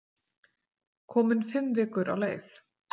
Komin fimm vikur á leið.